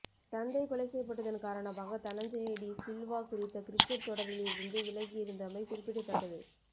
தந்தை கொலை செய்யப்பட்டதன் காரணமாக தனஞ்சய டி சில்வா குறித்த கிரிக்கட் தொடரில் இருந்து விலகியிருந்தமை குறிப்பிடத்தக்கது